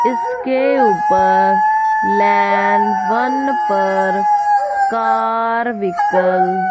इसके ऊपर land one पर कार व्हीकल --